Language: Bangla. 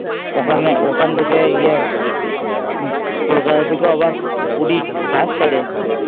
ওখানে, ওখান থেকে ইয়ে কলকাতা থেকে আবার পুরির বাস ছাড়ে